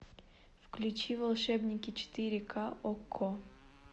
включи волшебники четыре ка окко